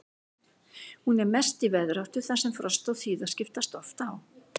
Hún er mest í veðráttu þar sem frost og þíða skiptast oft á.